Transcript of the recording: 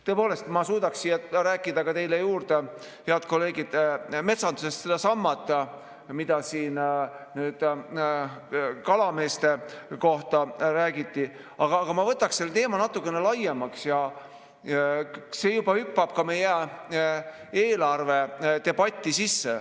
Tõepoolest, ma suudaksin rääkida teile juurde, head kolleegid, metsandusest sedasama, mida siin kalameeste kohta räägiti, aga ma võtaks selle teema natukene laiemaks, kuna see hüppab juba ka meie eelarvedebatti sisse.